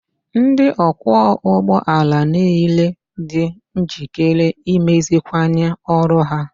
Ndị ọkwọ ụgbọ ala niile dị njikere imeziwanye ọrụ ha